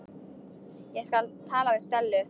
Ég skal tala við Stellu.